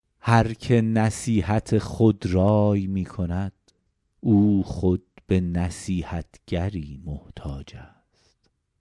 هر که نصیحت خودرای می کند او خود به نصیحتگری محتاج است